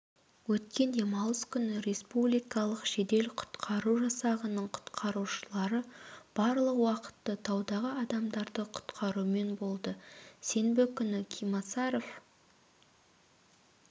өткен демалыс күні республикалық жедел-құтқаур жасағының құтқарушылары барлық уақытты таудағы адамдарды құтқарумен болды сенбі күні кимасаров